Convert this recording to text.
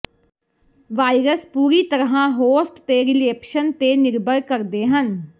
virus ਪੂਰੀ ਤਰ੍ਹਾਂ host ਤੇ ਰੀਲੇਪਸ਼ਨ ਤੇ ਨਿਰਭਰ ਕਰਦੇ ਹਨ